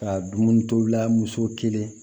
Ka dumuni tobila muso kelen